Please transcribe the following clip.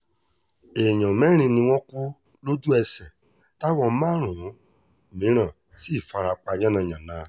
èèyàn mẹ́rin ni wọ́n kú lójú-ẹsẹ̀ táwọn márùn-ún mìíràn sì fara pa yànnà-yànnà